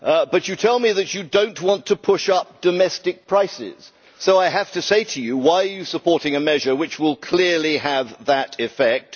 But you tell me that you do not want to push up domestic prices, so I have to ask you why are you supporting a measure which will clearly have that effect?